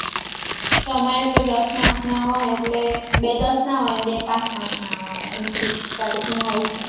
અમારે તો દસ marks ના હોય એટલે બે દસ ના હોય અને બે પાંચ પાંચ ના હોય એમ ત્રીસ હોય છે